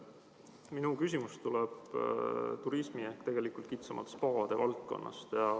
Minu küsimus tuleb turismi ehk kitsamalt spaade kohta.